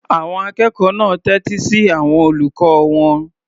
Àwọn akẹ́kọ̀ọ́ náà tẹ́tí sí àwọn olùkọ́ wọn.